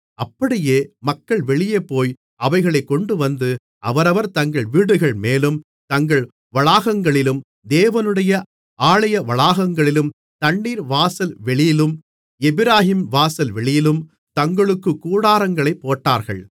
அப்படியே மக்கள் வெளியே போய் அவைகளைக் கொண்டுவந்து அவரவர் தங்கள் வீடுகள்மேலும் தங்கள் வளாகங்களிலும் தேவனுடைய ஆலயவளாகங்களிலும் தண்ணீர்வாசல் வெளியிலும் எப்பிராயீம்வாசல் வெளியிலும் தங்களுக்குக் கூடாரங்களைப் போட்டார்கள்